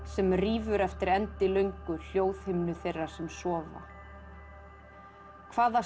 sem rífur eftir endilöngu hljóðhimnu þeirra sem sofa hvaða